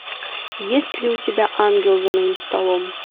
есть ли у тебя ангел за моим столом